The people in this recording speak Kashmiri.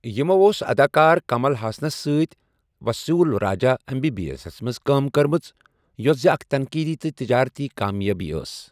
یِمَو اوس اداکار کمل ہاسنَس سۭتۍ Vasool Raja M B B ایسَس منٛز کٲم کٔرمٕژ یوٚس زِ اکھ تنقیٖدی تہٕ تجٲرتی کامیٲبی ٲس۔